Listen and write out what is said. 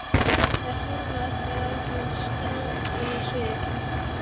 Þær horfa allar á hann strangar á svip.